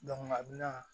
a bɛna